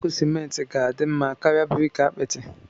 Blọku simenti ga-adị mma karịa briki apịtị.